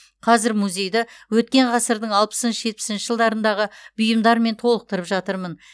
қазір музейді өткен ғасырдың алпысыншы жетпісінші жылдарындағы бұйымдармен толықтырып жатырмын